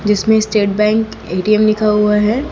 जिसमें State Bank ATM लिखा हुआ है।